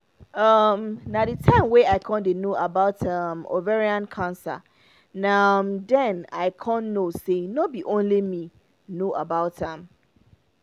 um na the time wey i con dey no about um ovarian cancer na um den i know say no be only me no know about am